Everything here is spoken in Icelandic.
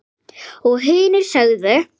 Og hinir sögðu